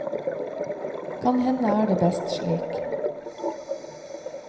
Kan hende er det best slik.